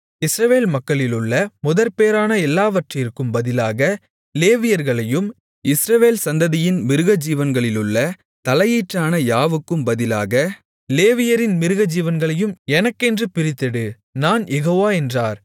இஸ்ரவேல் மக்களிலுள்ள முதற்பேறான எல்லாவற்றிற்கும் பதிலாக லேவியர்களையும் இஸ்ரவேல் சந்ததியின் மிருகஜீவன்களிலுள்ள தலையீற்றான யாவுக்கும் பதிலாக லேவியரின் மிருகஜீவன்களையும் எனக்கென்று பிரித்தெடு நான் யெகோவா என்றார்